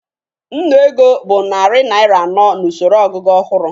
Nnụ ego bụ narị naịra anọ n'usoro ogugu ọhụrụ